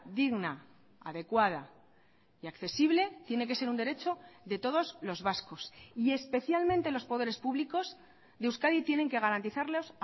digna adecuada y accesible tiene que ser un derecho de todos los vascos y especialmente los poderes públicos de euskadi tienen que garantizarlos